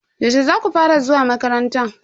Yaushe zaku fara zuwa makaranta?